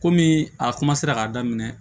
Komi a k'a daminɛ